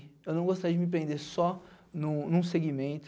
Eu não gostaria de me prender só em um em um segmento,